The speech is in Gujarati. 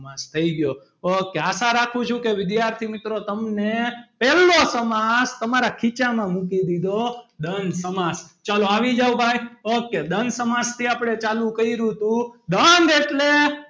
સમાસ થઈ ગયો ok આશા રાખું છું કે વિદ્યાર્થી મિત્રો તમને પહેલો સમાસ તમારા ખીચામાં મૂકી દીધો દ્વંદ સમાસ ચલો આવી જાઓ ભાઈ ok દ્વંદ સમાજથી આપણે ચાલુ કર્યું હતું દ્વંદ એટલે,